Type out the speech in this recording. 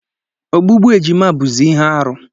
Ogbugbu ejima bụzị ihe arụ.